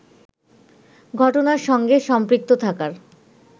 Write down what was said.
ঘটনার সঙ্গে সম্পৃক্ত থাকার